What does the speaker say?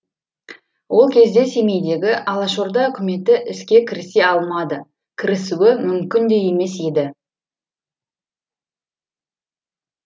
ол кезде семейдегі алашорда үкіметі іске кірісе алмады кірісуі мүмкін де емес еді